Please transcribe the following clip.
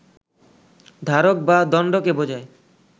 ধারক বা দণ্ডকে বোঝায়